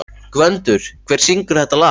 Gvöndur, hver syngur þetta lag?